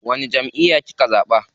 Wani jamʼiya kika zaɓa?